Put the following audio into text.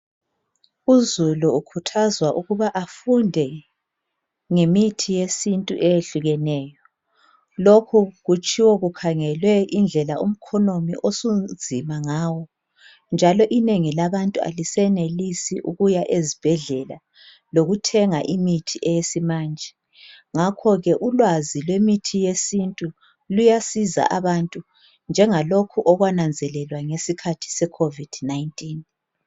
Uzulu ukhuthazwa ukuba afunde ngemithi yesintu eyehlukeneyo lokhu kutshiwo kukhangelwe indlela umkhonomi osunzima ngawo njalo inengi labantu alisenelisi ukuya ezibhedlela lokuthenga imithi yesimanje ngakho ke imithi yesintu iyasiza abantu .